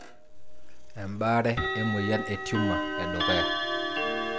Embare e moyian e tumor edukuya.